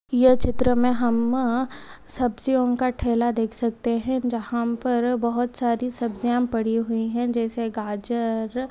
ये चित्र में हम सब्जियों का ठेला देख सकते है जहाँ पर बहुत सारी सब्जियां पड़ी हुई है जैसे गाजर--